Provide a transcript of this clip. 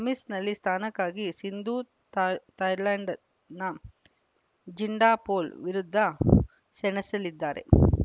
ಸೆಮೀಸ್‌ನಲ್ಲಿ ಸ್ಥಾನಕ್ಕಾಗಿ ಸಿಂಧು ಥಾಯ್ಲೆಂಡ್‌ನ ಜಿಂಡಾಪೊಲ್‌ ವಿರುದ್ಧ ಸೆಣಸಲಿದ್ದಾರೆ